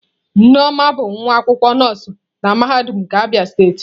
Nneoma bụ nwa akwụkwọ nọọsụ na mahadum nke Abia steeti.